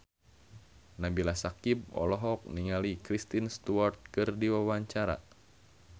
Nabila Syakieb olohok ningali Kristen Stewart keur diwawancara